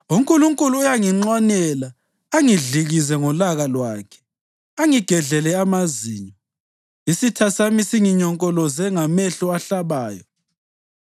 UNkulunkulu uyanginxwanela angidlikize ngolaka lwakhe, angigedlele amazinyo; isitha sami singinyonkoloze ngamehlo ahlabayo.